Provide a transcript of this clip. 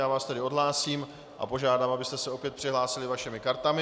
Já vás tedy odhlásím a požádám, abyste se opět přihlásili vašimi kartami.